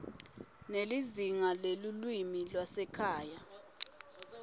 nelizingaa lelulwimi lwasekhaya